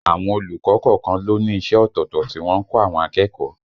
Àwọn olùkọ́ kọ̀ọ̀kan ló ní iṣẹ́ ọ̀tọ̀ọ̀tọ̀ tí wọ́n ń kọ́ àwọn akẹ́kọ̀ọ́